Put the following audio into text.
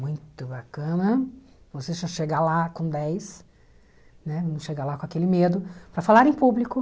Muito bacana você já chegar lá com dez, né, não chegar lá com aquele medo, para falar em público.